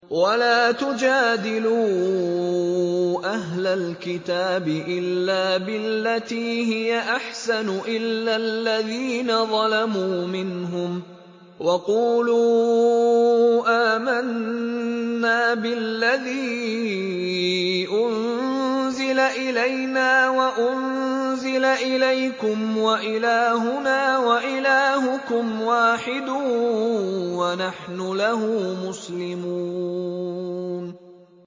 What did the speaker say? ۞ وَلَا تُجَادِلُوا أَهْلَ الْكِتَابِ إِلَّا بِالَّتِي هِيَ أَحْسَنُ إِلَّا الَّذِينَ ظَلَمُوا مِنْهُمْ ۖ وَقُولُوا آمَنَّا بِالَّذِي أُنزِلَ إِلَيْنَا وَأُنزِلَ إِلَيْكُمْ وَإِلَٰهُنَا وَإِلَٰهُكُمْ وَاحِدٌ وَنَحْنُ لَهُ مُسْلِمُونَ